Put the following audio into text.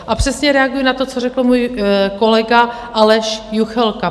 A přesně reaguji na to, co řekl můj kolega Aleš Juchelka.